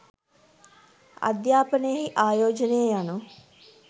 අධ්‍යාපනයෙහි ආයෝජනය යනු